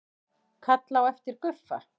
Kalla á eftir Guffa.